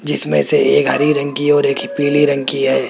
जिसमें से एक हरी रंग की और एक ही पीली रंग की है।